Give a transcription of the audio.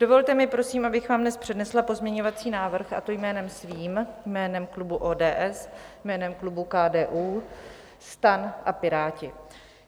Dovolte mi prosím, abych vám dnes přednesla pozměňovací návrh, a to jménem svým, jménem klubu ODS, jménem klubů KDU, STAN a Piráti.